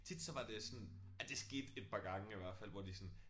Tit så var det sådan ej det skete et par gange i hvert fald hvor de sådan